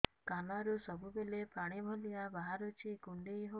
କାନରୁ ସବୁବେଳେ ପାଣି ଭଳିଆ ବାହାରୁଚି କୁଣ୍ଡେଇ ହଉଚି